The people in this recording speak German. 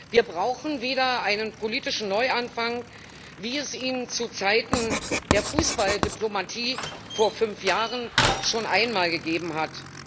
Wir brauchen wieder einen politischen Neuanfang, wie es ihn zu Zeiten der Fußballdiplomatie vor fünf Jahren schon einmal gegeben hat.